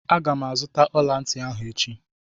Aga m azụta ọla ntị ahụ echi